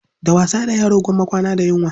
Da wasa da yaro gwamma kwana da yunwa.